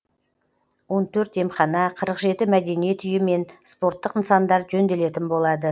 он төрт емхана қырық жеті мәдениет үйі мен спорттық нысандар жөнделетін болады